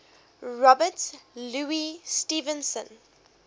robert louis stevenson